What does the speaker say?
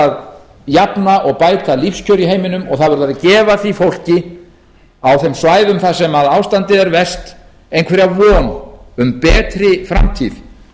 að jafna og bæta lífskjör í heiminum og það verður að gefa því fólki á þeim svæðum þar sem ástandið er verst einhverja von um betri framtíð